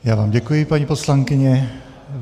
Já vám děkuji, paní poslankyně.